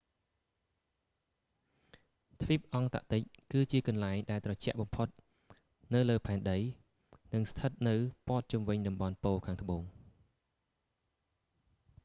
ទ្វីបអង់តាក់ទិកគឺជាកន្លែងដែលត្រជាក់បំផុតនៅលើផែនដី និងស្ថិតនៅព័ទ្ធជុំវិញតំបន់ប៉ូលខាងត្បូង